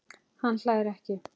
Hann hlær ekki.